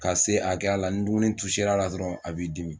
Ka se akɛya la ni dumuni tuser'a la dɔrɔn a b'i dimi